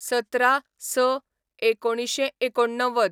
१७/०६/१९८९